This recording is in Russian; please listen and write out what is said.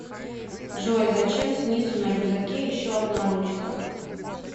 джой зачем снизу на рюкзаке еще одна ручка